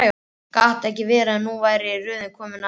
Gat ekki verið að nú væri röðin komin að henni?